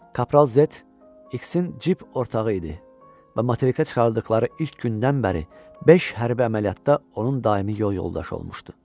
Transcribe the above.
Kapral Zet İksin cəbhə ortağı idi və materikə çıxardıqları ilk gündən bəri beş hərbi əməliyyatda onun daimi yol yoldaşı olmuşdu.